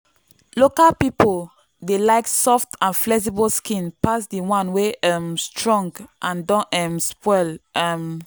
local people dey like soft and flexible skin pass the one wey um strong and don um spoil. um